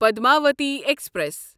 Padmavati express